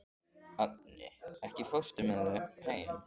Agni, ekki fórstu með þeim?